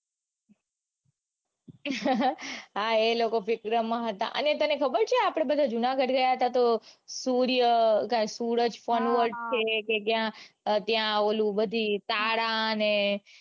હા એ લોકો માં હતા અને તને ખબર છે આપડે બધા જૂનાગઢ ગયા તા તો સૂર્ય સુરજ છે કે ક્યાંક ત્યાં ઓલું બધું તારા ને ગ્રહો